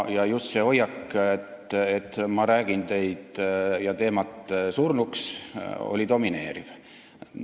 Ja just see hoiak, et ma räägin teid ja teemat surnuks, oli domineeriv.